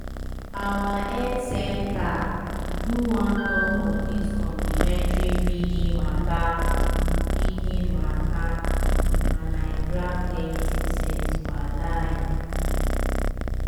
our health center do one talk on dis complementary feeding mata feeding mata and i grab plenty sense walahi.